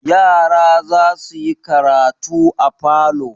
Yara za su yi karatu a falo.